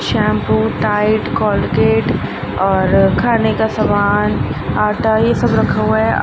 Shampoo Tide Colgate और खाने का सामान आटा ये सब रखा हुआ है।